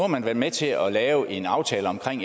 man været med til at lave en aftale om